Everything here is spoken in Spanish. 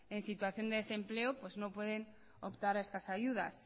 en situación de desempleo pues no pueden optar a estas ayudas